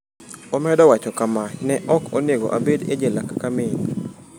Omedo wacho kama: “Ne ok onego abed e jela kaka min.”